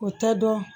O tɛ dɔn